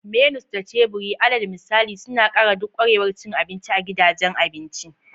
Menus da teburi, alal misali, suna ƙara duk ƙwarewar cin abinci a gidajen abinci.